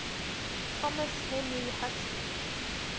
thomas henry huxley